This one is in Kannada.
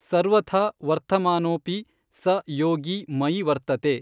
ಸರ್ವಥಾ ವರ್ತಮಾನೋಽಪಿ ಸ ಯೋಗೀ ಮಯಿ ವರ್ತತೇ।